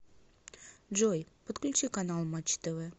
джой подключи канал матч тв